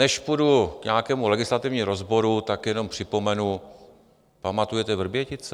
Než půjdu k nějakému legislativnímu rozboru, tak jenom připomenu, pamatujete Vrbětice?